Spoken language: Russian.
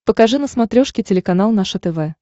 покажи на смотрешке телеканал наше тв